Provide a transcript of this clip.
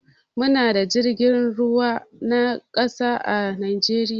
Mu na da jirgin ruwa na ƙasa a najeriya